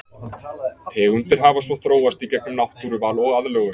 Tegundir hafa svo þróast í gegnum náttúruval og aðlögun.